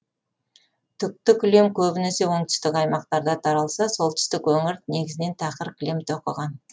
түкті кілем көбінесе оңтүстік аймақтарда таралса солтүстік өңір негізінен тақыр кілем тоқыған